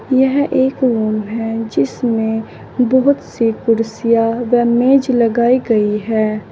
यह एक रूम है जिसमें बहुत सी कुर्सियां व मेज लगाई गई हैं।